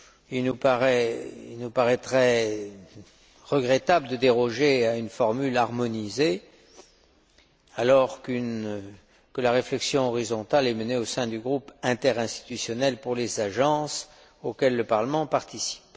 Il nous paraîtrait regrettable de déroger à une formule harmonisée alors que la réflexion horizontale est menée au sein du groupe interinstitutionnel pour les agences, auquel le Parlement participe.